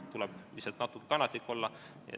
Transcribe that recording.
Tuleb lihtsalt kannatlik olla.